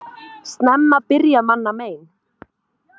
Snemma byrja manna mein.